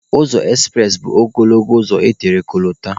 Ụzọ ekspụres bụ ogologo ụzọ etere kolota.